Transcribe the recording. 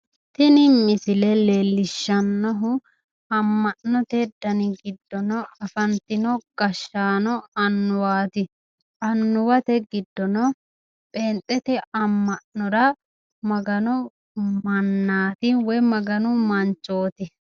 tini misile leellishshannohu amma'note dani giddonni afantino gashshaano annuwaati annuwate giddono pheenxete amma'nora maganu mannaati woyi maganu manchooti.